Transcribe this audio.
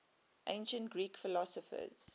ancient greek philosophers